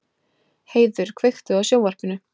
Heiður, kveiktu á sjónvarpinu.